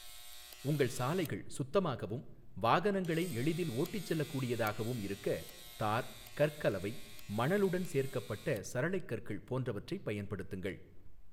உங்கள் சாலைகள் சுத்தமாகவும் வாகனங்களை எளிதில் ஓட்டிச் செல்லக் கூடியதாகவும் இருக்க தார், கற்கலவை, மணலுடன் சேர்க்கப்பட்ட சரளைக் கற்கள் போன்றவற்றைப் பயன்படுத்துங்கள்.